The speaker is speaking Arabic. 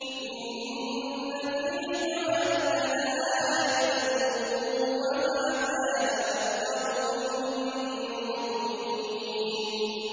إِنَّ فِي ذَٰلِكَ لَآيَةً ۖ وَمَا كَانَ أَكْثَرُهُم مُّؤْمِنِينَ